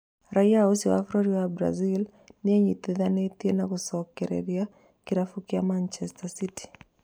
Raiya ũcio wa bũrũri wa Brazil nĩenyitithanĩtie na gũcokereria kĩrabu kĩa Manchester City